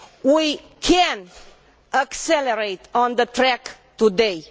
We can accelerate on the track today